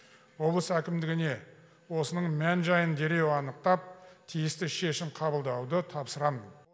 облыс әкімдігіне осының мән жайын дереу анықтап тиісті шешім қабылдауды тапсырамын